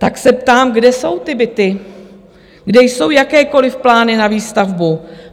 Tak se ptám, kde jsou ty byty, kde jsou jakékoliv plány na výstavbu.